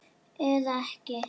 Eða ekki.